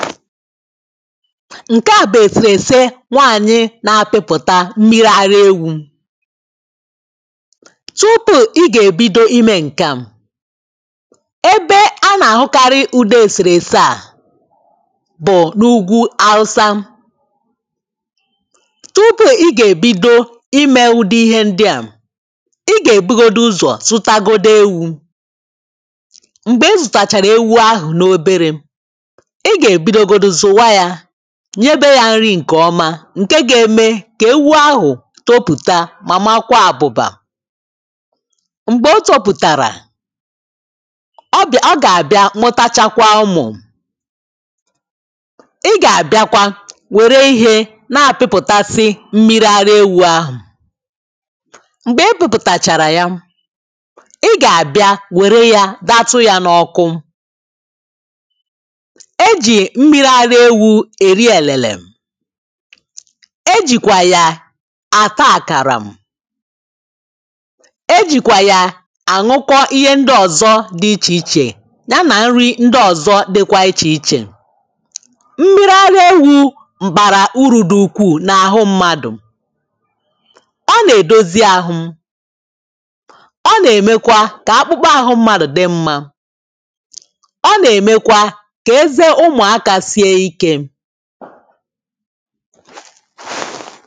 ǹke a bụ̀ èsèrèsè nwaanyị̀ na-apịpụ̀ta mmiri ara ewu̇ tupu ị gà-èbido imė ǹkè a ebe a nà-àhụkarị udo èsèrèsè a bụ̀ n’ugwu awụsa tupu ị gà-èbido imė udi ihe ndịa ị gà-èbugodi uzọ̀ zụta godu ewu̇ m̀gbè ị zụ̀tàchàrà ewu ahụ̀ n’oberė ị ga ebidogodi zụwa yȧ nye ebe yȧ nri ǹkè ọma ǹke ga-eme kà ewu ahụ̀ topùta màmakwa àbụ̀bà m̀gbè o topùtàrà ọ bịa, ọ gà-àbịa mụtachakwa ụmụ̀ ị gà-àbịakwa wère ihe na-pipụtasị mmiri ara ewu̇ ahụ̀ m̀gbè ị pụ̇pụ̀tàchàrà ya ị gà-àbịa wère ya datụ ya n’ọkụ. E ji mmiri ara ewu e rie elėlė e jìkwà ya àta àkàrà, e jìkwà ya àṅwuka ihe ndị ọ̀zọ dị ichè ichè ya nà nri ndị ọ̀zọ dịkwa ichè ichè mmir ara ewu bàrà uru dị ukwuù n’àhụ mmadụ̀ ọ nà-èdozi àhụ ọ nà-èmekwa kà akpụkpọ àhụ mmadụ̀ dị mma ọ nà-èmekwa kà eze ụmụ̀akà sị ike